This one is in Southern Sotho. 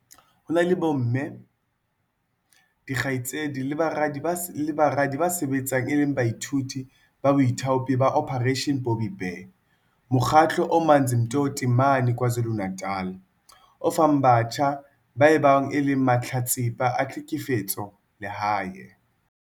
Ho na le bomme, dikgaitsedi le baradi ba sebetsang e le baithuti ba baithaopi ba Operation Bobbi Bear, mokgatlo o Amanzimtoti mane KwaZulu-Natal o fang batjha ba bao e leng mahlatsipa a tlhekefetso lehae.